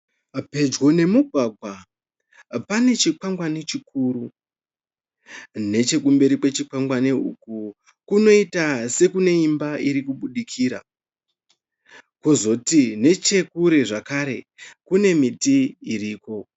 Pedyo nemugwagwa, pane chikwangwani chikuru. Nechekumberi kwechikwangwani uku kunoita sekune imba irikubudikira. Pozoti nechekure zvakare, kune miti iriko.